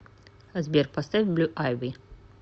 сбер поставь блю айви